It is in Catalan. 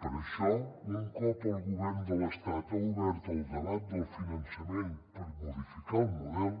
per això un cop el govern de l’estat ha obert el debat del finançament per modificar el model